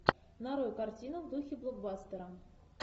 нарой картину в духе блокбастера